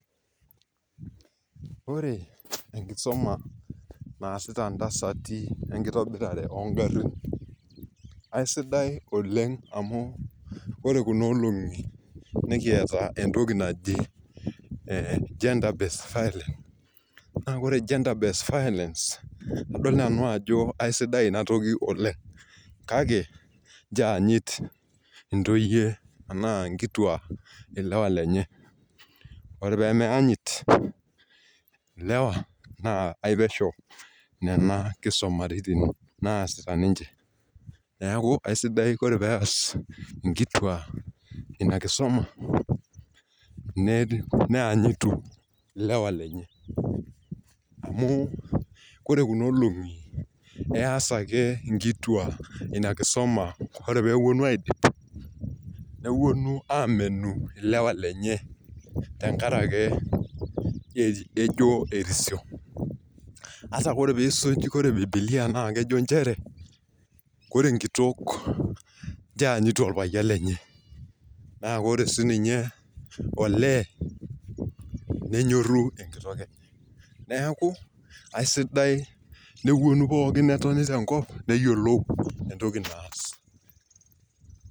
Ore enkisuma naasita ntasati enkitobirare oo garin, aisidai Oleng amu ore Kuna olong'i, nikiata entoki naji gender based violence naa adol nani ajo aisidai Ina toki oleng kake, nchoo eyanyit ntoyie anaa nkituak ilewa lenye. ore pee meyanyit ilewa naa epesho, Nena kisumaritim naasita ninche. neeku aisidai ore pees inkituak Ina kisuma neenyuto ilewa lenye. amu ore Kuna olong'i eas ake nkituak ina kisuma ore pee epuonu aidipa. nepuonu aamenu ilewa lenye. temkaraki kejo erisio .ore pee isuj ,ore bibilia naa kejo nchere ore enkitol naa lasima pee eyanyitu olpayiani lenye. naa ore sii. Ninye oleee nenyorri enkitol enye. neeku aisidai nepuonu pookin, netoni tenkop neyiolou entoki naas.